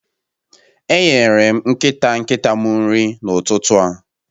Enyere m nkịta nkịta m nri n'ụtụtụ a